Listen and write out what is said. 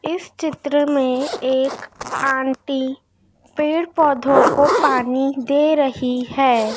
इस चित्र में एक आंटी पेड़ पौधों को पानी दे रही है।